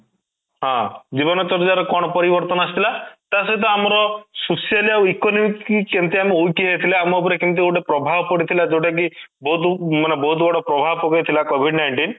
ହଁ, ଜୀବନ ଶର୍ଯ୍ୟା ର କ'ଣ ପରିବର୍ତ୍ତନ ଆସିଥିଲା ? ତା ସହିତ ଆମର socially ଆଉ economic କେମିତି ଆମେ weak ହେଇଯାଇଥିଲେ ଆମ ଉପରେ କେମିତି ଗୋଟେ ପ୍ରଭାବ ପଡିଥିଲା ଯୋଉଟା କି ମାନେ ବହୁତ ବଡ ପ୍ରଭାବ ପକେଇଥିଲା covid-ninetine